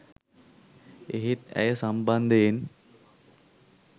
එහෙත් ඇය සම්බන්ධයෙන්